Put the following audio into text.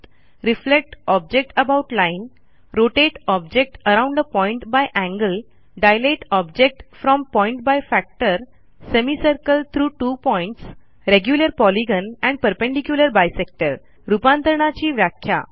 reflect object about line rotate object around a point by angle dilate object from a point by factor semicircle through two points regular polygon and perpendicular bisector रूपांतरणाची व्याख्या